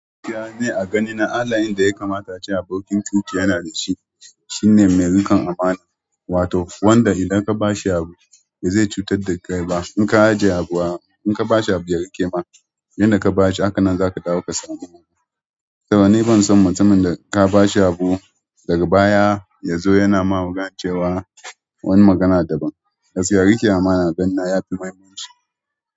Ni a gani na halayen da ya kamata a ce abokin cuta yana da shi. Shi ne mai ruƙan amana, wato wanda idan ka ba shi abu bai zai cutar da kai ba. In ka ajiye abu a, in ka ba shi abu ya riƙe ma, inda ka ba shi haka nan za ka dawo ka samu. Saboda, ni ban son mutumin da ka ba shi abu daga baya ya zo yana magana yana cewa wani magana daban. Gaskiya riƙe amana, a gani na ya fi muhimmanci.